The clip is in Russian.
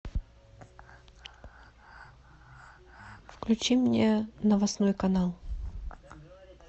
включи мне новостной канал